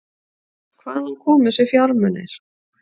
Hvaðan komu þessir fjármunir?